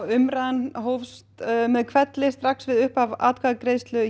umræðan hófst með hvelli strax við upphaf atkvæðagreiðslu